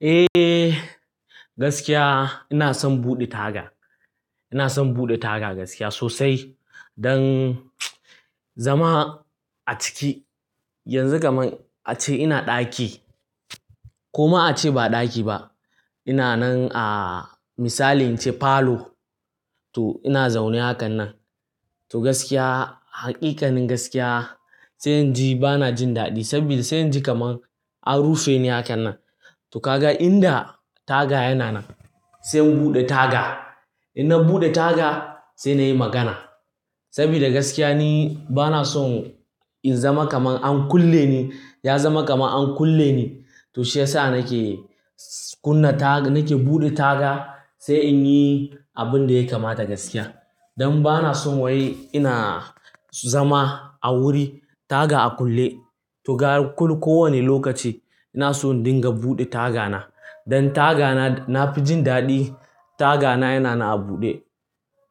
Eh gaskiya ina son buɗe taga. Ina son buɗe taga gaskiya sosai don zama a ciki. Yanzu kaman ace ina ɗaki ko ma a ce ba ɗaki ba. Ina nan a misali in ce falo to ina zaune hakan nan. To gaskiya haƙiƙanin gaskiya sai in ji bana jin daɗi saboda sai in ji kamar an rufe ni hakan nan. To ka ga in da taga yana nan sai in buɗe taga. In na buɗe taga sai na yi magana. Saboda gaskiya ni bana son in zama kamar an kulle ni, ya zama kamar an kulle ni. To shi ya sa nake kunna ta, nake buɗe taga sai in yi abun da ya kamata gaskiya. Don bana son wai ina zama a wuri taga a kulle. To ga kullum kowane lokaci ina son dinga buɗe tagana. Don tagana na fi jin daɗi tagana yana nan a buɗe.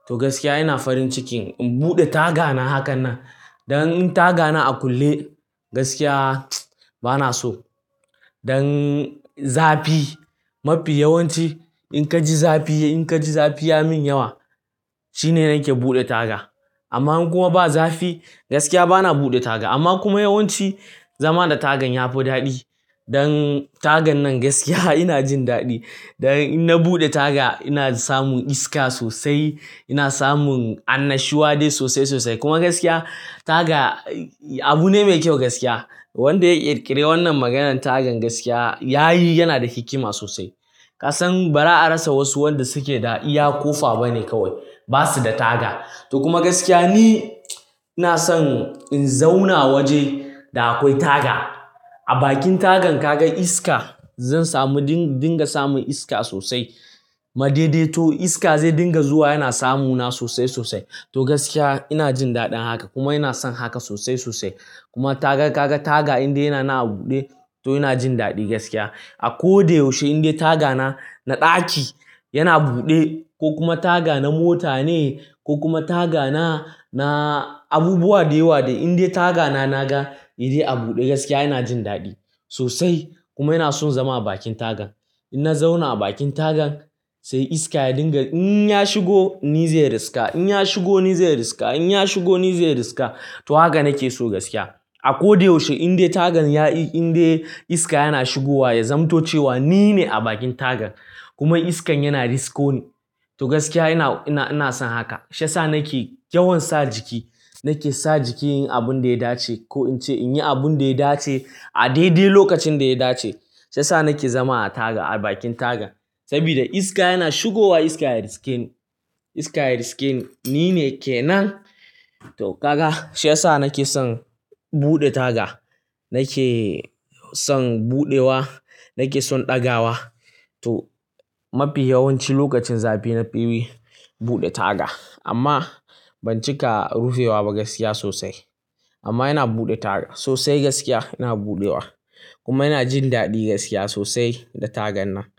To gaskiya ina farin cikin in buɗe tagana hakan nan. Don in tagana a kulle gaskiya bana so. Don zafi mafi yawanci in ka ji zafi, in ka ji zafi ya min yawa shine nake buɗe taga. Amma in kuma ba zafi gaskiya bana buɗe taga. Amma kuma yawanci zama da tagan ya fi daɗi. Don tagan nan gaskiya ina jin daɗi. Don in na buɗe taga ina samun iska sosai, ina samun annashuwa dai sosai sosai. Kuma gaskiya taga abu ne mai kyau gaskiya. Wanda ya ƙirƙire wannan maganan tagan gaskiya yayi yana da hikima sosai. Kasan ba za a rasa wasu wanda suke da iya ƙofa bane kawai, ba su da taga. To kuma gaskiya ni ina son in zauna waje da akwai taga. A bakin tagan ka ga iska, zan samu dinga samun iska sosai. Ma daidai to iska zai dinga zuwa yana samu na sosai sosai. To gaskiya ina jin daɗin haka kuma ina son haka sosai sosai. Kuma taga ka ga taga in dai yana nan a buɗe to ina jin daɗi gaskiya. A ko da yaushe in dai tagana na ɗaki yana buɗe ko kuma tagana mota ne ko kuma tagana na abubuwa da yawa dai in dai tagana naga ya dai a buɗe gaskiya ina jin daɗi sosai. Kuma ina son zama a bakin taga. In na zauna a bakin tagan sai iska ya dinga in ya shigo ni zai riska, in ya shigo ni zai riska, in ya shigo ni zai riska. To haka nake so gaskiya. A ko da yaushe in dai tagan ya yi, in dai iska yana shigowa ya zamance cewa nine a bakin tagan kuma iskan yana risko ni. To gaskiya ina, ina, ina son haka. Shi ya sa nake yawan sa jiki, nake sa jiki yin abun da ya dace ko in ce in yi abun da ya dace a daidai lokacin da ya dace. Shi ya sa nake zama a taga a bakin taga. Saboda iska yana shigowa iska ya riske ni, iska ya riske ni nine ke nan. To ka ga shi ya sa nake son buɗe taga. Nake son buɗewa, nake son ɗagawa. To mafi yawanci lokacin zafi na fi buɗe taga amma ban cika rufewa ba gaskiya sosai. Amma ina buɗe taga sosai gaskiya ina buɗewa kuma ina jin daɗi gaskiya sosai da tagan nan.